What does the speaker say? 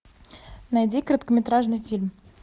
найди короткометражный фильм